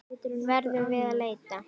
Verðum að leita.